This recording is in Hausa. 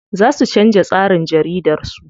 Za su canza tsarin jaridar su.